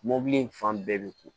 Mɔbili in fan bɛɛ bɛ ko